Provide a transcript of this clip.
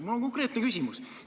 Mul on konkreetne küsimus.